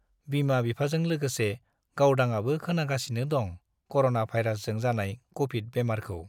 बिमा- बिफाजों लोगोसे गावदांआबो खोनागासिनो दं कर'ना भाइरासजों जानाय कभिड बेमारखौ ।